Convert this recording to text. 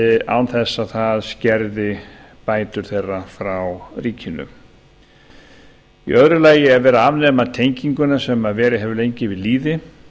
án þess að það skerði bætur frá ríkinu í öðru lagi er verið að afnema tenginguna sem verið hefur lengi við lýði